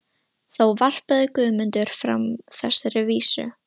Þá varpaði Guðmundur fram þessari vísu: